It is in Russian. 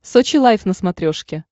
сочи лайф на смотрешке